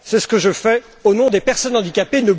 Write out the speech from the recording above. C'est ce que je fais au nom des personnes handicapées.